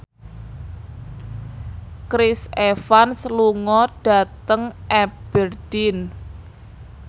Chris Evans lunga dhateng Aberdeen